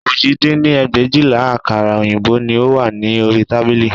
Òjì dín ní ẹgbẹ̀éjìlá àkàrà òyìnbó ni ó wà ní orí tábìlì